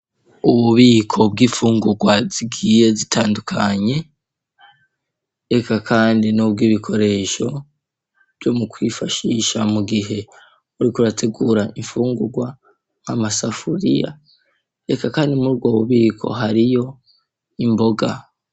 Ububiko bw'imfungurwa zigiye zitandukanye eka kandi nubwo ibikoresho vyo mu kwifashisha mu gihe uriko urategura imfungurwa amasafuriya reka kandi murubwo bubiko hariyo imboga.